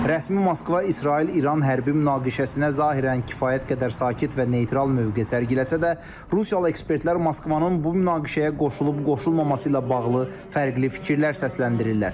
Rəsmi Moskva İsrail-İran hərbi münaqişəsinə zahirən kifayət qədər sakit və neytral mövqe sərgiləsə də, rusiyalı ekspertlər Moskvanın bu münaqişəyə qoşulub-qoşulmaması ilə bağlı fərqli fikirlər səsləndirirlər.